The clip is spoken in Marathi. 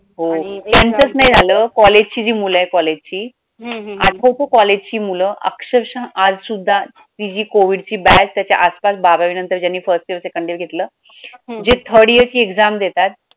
हो त्यांचाच नाही झालं college जी मुलं आहेत college ची college ची मूलं अक्षरशः आज सुद्धा ती जी COVID ची batch त्याच्या आस पास बारावी नंतर ज्यांनी first year Second year घेतलं जी third year ची exam देतात.